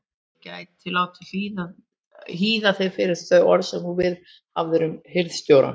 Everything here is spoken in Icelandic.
Ég gæti látið hýða þig fyrir þau orð sem þú viðhafðir um hirðstjórann.